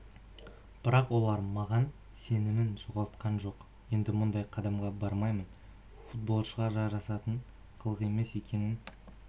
бірақ олар маған сенімін жоғалтқан жоқ енді мұндай қадамға бармаймын футболшыға жарасатын қылық емес екенін